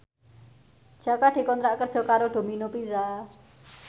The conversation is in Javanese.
Jaka dikontrak kerja karo Domino Pizza